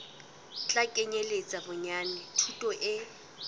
tla kenyeletsa bonyane thuto e